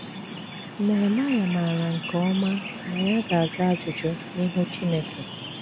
Nehemaịa maara nke ọma na ya ga - aza ajụjụ n’ihu Chineke.